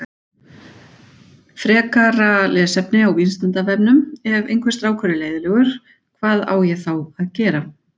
Frekara lesefni á Vísindavefnum Ef einhver strákur er leiðinlegur, hvað á ég þá að gera?